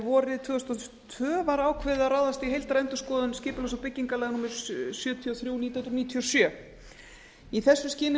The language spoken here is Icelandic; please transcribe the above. vorið tvö þúsund og tvö var ákveðið að ráðast í heildarendurskoðun skipulags og byggingarlaga númer sjötíu og þrjú nítján hundruð níutíu og sjö í þessu skyni